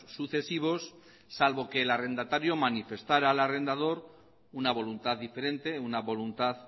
sucesivos salvo que el arrendatario manifestara al arrendador una voluntad diferente una voluntad